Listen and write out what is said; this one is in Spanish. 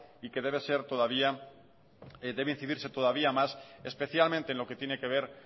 y que debe incidirse todavía más especialmente en lo que tiene que ver